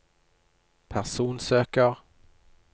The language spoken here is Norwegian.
personsøker